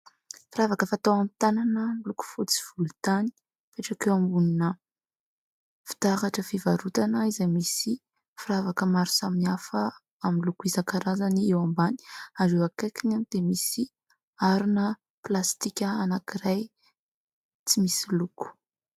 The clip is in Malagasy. Firavaka fatao amin'ny tanana miloko fotsy sy volontany. Mipetraka eo ambonina fitaratra fivarotana izay misy firavaka maro samihafa amin'ny loko isan-karazany eo ambany ary eo akaikiny dia misy harona plastika anankiray tsy misy loko.